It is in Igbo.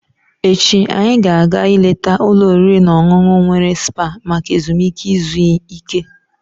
Echi, anyị ga-aga ileta ụlọ oriri na ọṅụṅụ were spa maka ezumike izu ike.